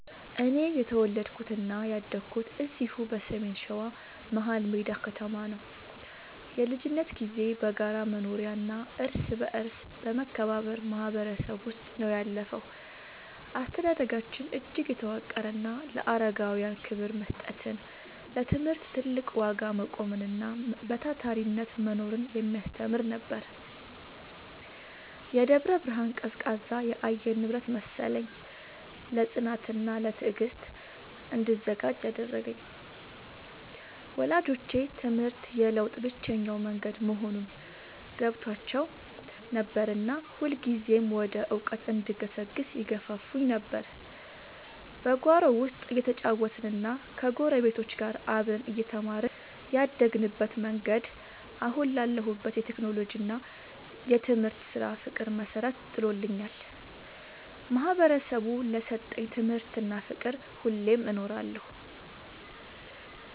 እኔ የተወለድኩትና ያደግኩት እዚሁ በሰሜን ሸዋ፣ መሀልሜዳ ከተማ ነው። የልጅነት ጊዜዬ በጋራ መኖሪያና እርስ በርስ በመከባበር ማህበረሰብ ውስጥ ነው ያለፈው። አስተዳደጋችን እጅግ የተዋቀረና ለአረጋውያን ክብር መስጠትን፣ ለትምህርት ትልቅ ዋጋ መቆምንና በታታሪነት መኖርን የሚያስተምር ነበር። የደብረ ብርሃን ቀዝቃዛ የአየር ንብረት መሰለኝ፣ ለጽናትና ለትዕግስት እንድዘጋጅ ያደረገኝ። ወላጆቼ ትምህርት የለውጥ ብቸኛው መንገድ መሆኑን ገብቷቸው ነበርና ሁልጊዜም ወደ እውቀት እንድገሰግስ ይገፋፉኝ ነበር። በጓሮ ውስጥ እየተጫወትንና ከጎረቤቶች ጋር አብረን እየተማርን ያደግንበት መንገድ፣ አሁን ላለሁበት የቴክኖሎጂና የትምህርት ስራ ፍቅር መሰረት ጥሎልኛል። ማህበረሰቡ ለሰጠኝ ትምህርትና ፍቅር ሁሌም እኖራለሁ።